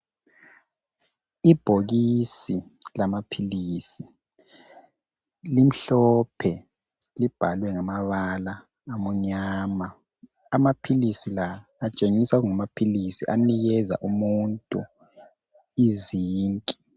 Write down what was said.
Ibhokisi lamaphilisi limhlophe libhalwe ngamabala amnyama. Amaphilisi la atshengisa kungamaphilisi anikeza umuntu i zinc